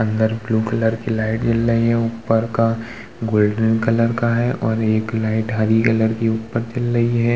अंदर blue colour की light जल रही है। ऊपर का गोल्डन कलर का है और एक लाइट हरी कलर की ऊपर जल रही है।